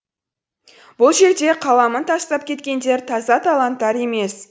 бұл жерде қаламын тастап кеткендер таза таланттар емес